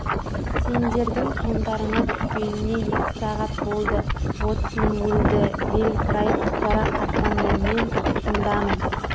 сендердің соңдарыңа түскеніне екі сағат болды боцман өлді виль фрай жарақаттанды мен тұтқындамын